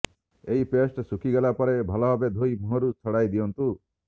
ଏହି ପେଷ୍ଟ ଶୁଖି ଗଲାପରେ ଭଲଭାବେ ଧୋଇ ମୁହଁରୁ ଛଡାଇ ଦିଅନ୍ତୁ